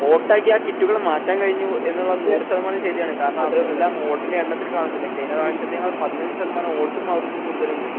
വോട്ടാക്കിയാ കിറ്റുകൾ മാറ്റാൻ കഴിഞ്ഞു എന്നുള്ളത് നൂറ് ശതമാനം ശരിയാണ് കാരണം അത് എല്ലാ വോട്ടിൻ്റെ എണ്ണത്തിൽ കാണുന്നുണ്ട് കഴിഞ്ഞ പ്രാവശ്യത്തെക്കാൾ പതിനഞ്ച് ശതമാനം വോട്ടും അവർക്ക് കൂടുതലുണ്ട്.